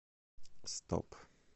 стоп